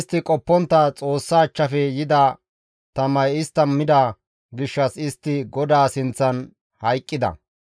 Istti qoppontta Xoossa achchafe yida tamay istta mida gishshas istti GODAA sinththan hayqqida.